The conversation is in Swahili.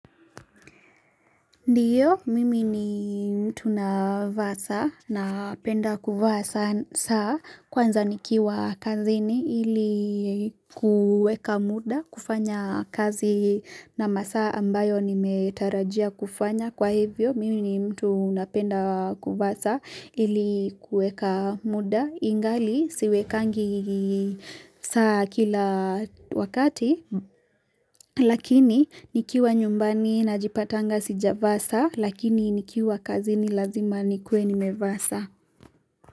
Ndiyo, mimi ni mtu na vaa saa na penda kuvaa saa saa kwanza nikiwa kazini ilikuweka muda kufanya kazi na masaa ambayo nimetarajia kufanya kwa hivyo. Mimi ni mtu unapenda kuvaa saa ilikuweka muda ingali siwekangi saa kila wakati lakini nikiwa nyumbani na jipatanga sijavaa saa lakini nikiwa kazi ni lazima nikwe ni mevaa saa.